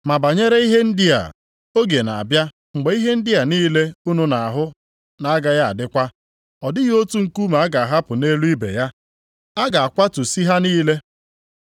“Ma banyere ihe ndị a, oge na-abịa mgbe ihe ndị a niile unu na-ahụ na-agaghị adịkwa. Ọ dịghị otu nkume a ga-ahapụ nʼelu ibe ya, a ga-akwatusị ha niile.”